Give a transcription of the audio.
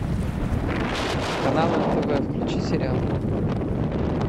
канал нтв включи сериал